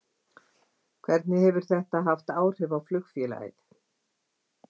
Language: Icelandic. Hvernig hefur þetta haft áhrif á flugfélagið?